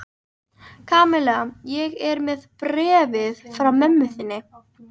Kamilla, ég er með bréfið frá mömmu þinni.